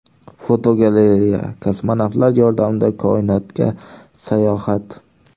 Fotogalereya: Kosmonavtlar yordamida koinotga sayohat.